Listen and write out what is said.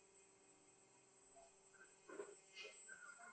Þetta hefur aldrei gerst áður.